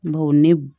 Bawo ne b